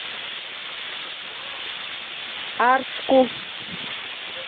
арску